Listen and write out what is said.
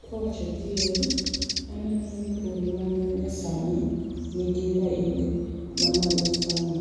Kwa wacho adieri, an aneno ni pur manyasani nigi raing ma malo sana